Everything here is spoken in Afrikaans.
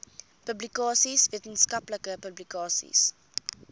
publikasies wetenskaplike publikasies